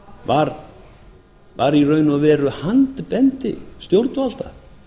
var í raun og veru handbendi stjórnvalda